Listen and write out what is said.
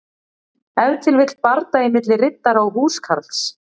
Ef til vill bardagi milli riddara og húskarls.